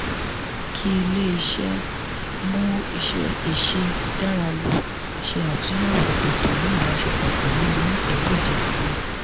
kí ilé-iṣẹ́ mú ìṣe dára lò ṣe àtúnyẹ̀wò ètò ní ìbáṣepọ̀ pẹ̀lú onípìńdọ̀jẹ̀ síi